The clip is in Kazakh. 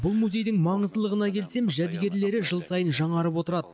бұл музейдің маңыздылығына келсем жәдігерлері жыл сайын жаңарып отырады